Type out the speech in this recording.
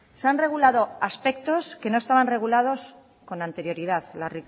se han regulado aspectos que no estaban regulados con anterioridad la